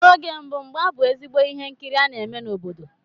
N'oge mbụ mgba bú ezigbo ihe nkiri a na-eme n'obodo.